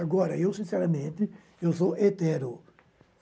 Agora, eu, sinceramente, eu sou hetero.